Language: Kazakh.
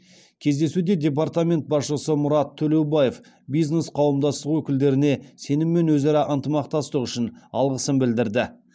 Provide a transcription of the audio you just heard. кездесуде департамент басшысы мұрат төлеубаев бизнес қауымдастық өкілдеріне сенім мен өзара ынтымақтастық үшін алғысын білдірді